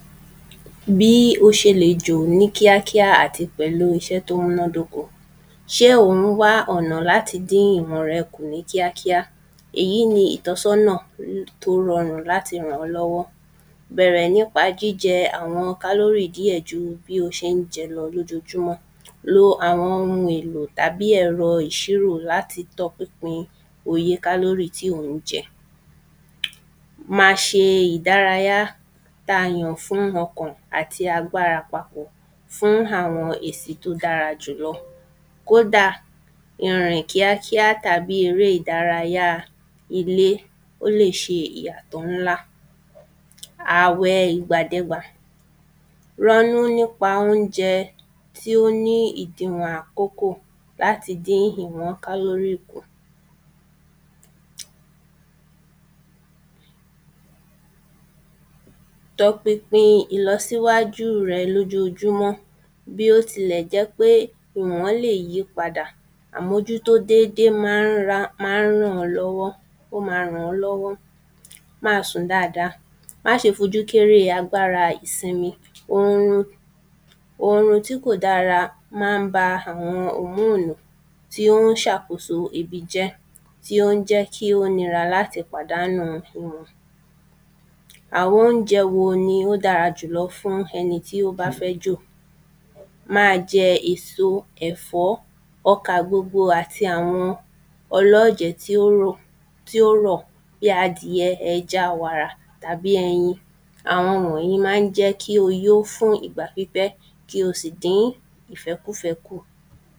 bí ó ṣe lè jò ní kíákíá àti pẹ̀lú iṣẹ́ tó múnádókó. ṣé ò ń wá ọ̀nà láti dìn ìwọ̀n rẹ̀ kù ní kíákíá? èyí ni ìtánsọ́nà tó rọràn láti ràn ọ́ lọ́wọ́. bẹ̀rẹ̀ nípa jíjẹ àwọn kálórì díẹ̀ ju bí o ṣén jẹ lọ lójojúmọ́. lo àwọn ohun èlò tàbí ẹ̀rọ ìṣírò láti tọ pinpin oye kálórì tí ò ń jẹ. ma ṣe ìdárayá ta yàn fún ọkàn àti agbára papọ̀ fún àwọn èsì tó dára jùlọ, kódà ìrìn kíákíá tàbí eré ìdárayáa ilé, ó lè ṣe ìyàtọ̀ ńlá. àwẹ ìgbàdẹgbà, rọ́nú nípa óunjẹ tí ó ní ìdìnwọ̀n àkókó láti dín ìwọn kálórì kù. tọ pinpin ìlọsíwájú rẹ lójojúmọ́, bí ó ti lè jẹ́ pé ìwọ́n lè yípadà, àmójútó dédé maá ran, maá ràn ọ́ lọ́wọ́, ó ma ràn ọ́ lọ́wọ́. máa sùn dáada, má ṣe kéré agbára ìsinmi orun, orun tí kò dára mán ba àwọn òmónù tí ó ń ṣàkóso ebi jẹ́, tí ó ń jẹ́ kí ó nira láti pàdánù ìwọ̀n. àwọn óunjẹ wo ni ó dára jùlọ fún ẹni tí ó bá fẹ́ jò? máa jẹ èso, ẹ̀fọ́, ọkà gbogbo àti àwọn ọlọ́jẹ̀ tí ó rò, tí ó rọ̀, bí adìyẹ, ẹja, wàrà, tàbí ẹyin. àwọn wọ̀nyí ma ń jẹ́ kí ó yó fún ìgbà pípẹ́ kí o sì dín ìfẹ́kúfẹ́ kù.